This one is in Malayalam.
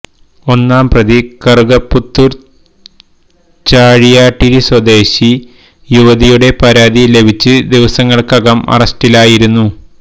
ഒന്നാം പ്രതി കറുകപ്പുത്തൂര് ചാഴിയാട്ടിരി സ്വദേശി യുവതിയുടെ പരാതി ലഭിച്ച് ദിവസങ്ങള്ക്കകം അറസ്റ്റിലായിരുന്നു